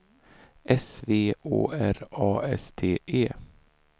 S V Å R A S T E